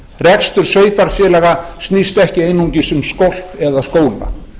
rekstur sveitarfélaga snýst ekki einungis um skolp eða skóla